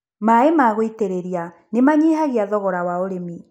Mai ma gwĩtĩrĩria nĩ manyihagia thogora wa ũrĩmi.